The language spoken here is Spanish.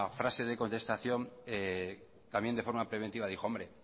frase de contestación también de forma preventiva dijo hombre